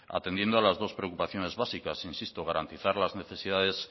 atendiendo a las dos preocupaciones básicas insisto garantizar las necesidades